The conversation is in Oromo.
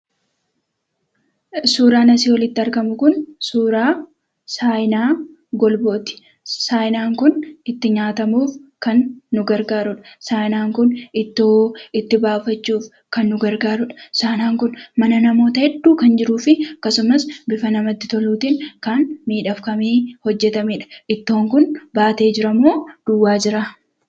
Suuraan asi olitti argamu kun, suuraa saayinaa golbooti. Saayiinaan kun, itti nyaatamuuf kan, nu gargaarudha. saayiinaan kun, ittoo itti baafachuuf kan, nu gargaarudha. Saayiinaan kun mana namoota hedduu kan, jiruufi akkasumaas, bifa namatti toluutin kan, miidhagfamee hojjetamedha. ittoon kun, baatee jiramo?,duwwaa jiraa?